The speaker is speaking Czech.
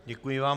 Děkuji vám.